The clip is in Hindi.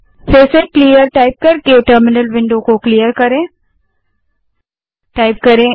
फिर से टर्मिनल को क्लियर करने के लिए क्लियर टाइप करें